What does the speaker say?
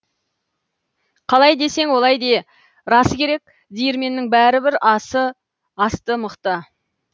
қалай десең олай де расы керек диірменнің бәрібір асты мықты